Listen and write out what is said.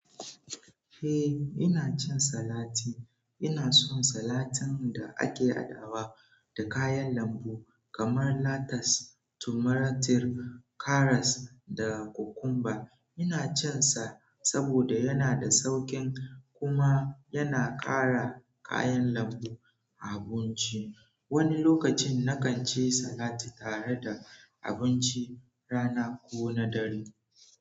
Eh, ina cin salati. Ina son salatin da ake haɗawa da kayan lambu kamar latas, tumatir, karas, da kukumba. Ina cinsa saboda yana da sauƙin kuma yana ƙara kayan lambu abunci. Wani lokacin, na kan ci salati tare da abinci rana ko na dare.